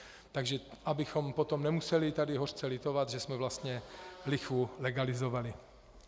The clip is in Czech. Takže abychom potom nemuseli tady hořce litovat, že jsme vlastně lichvu legalizovali.